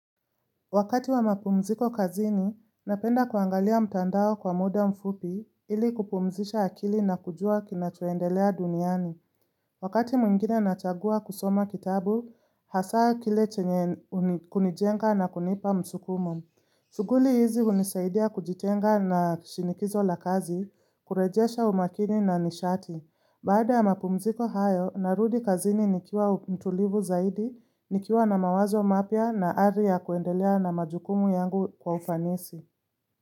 Wakati wa mapumziko kazini, napenda kuangalia mtandao kwa muda mfupi ili kupumzisha akili na kujua kinachoendelea duniani. Wakati mwingine nachagua kusoma kitabu, hasa kile chenye kunijenga na kunipa msukumo. Shughuli hizi unisaidia kujitenga na shinikizo la kazi, kurejesha umakini na nishati. Baada ya mapumziko hayo, narudi kazini nikiwa mtulivu zaidi, nikiwa na mawazo mapya na hali ya kuendelea na majukumu yangu kwa ufanisi.